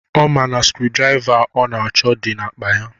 Ọ ma na screwdriver ọ na-achọ dị n'akpa ya.